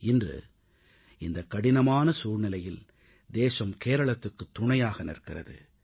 இன்று இந்த கடினமான சூழ்நிலையில் தேசம் கேரளத்துக்குத் துணையாக நிற்கிறது